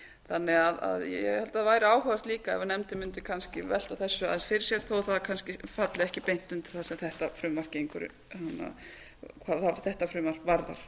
þannig að ég held að það væri áhugavert líka ef nefndin mundi kannski velta þessu aðeins fyrir sér þó að það kannski falli ekki beint undir það sem þetta frumvarp hvað þetta frumvarp varðar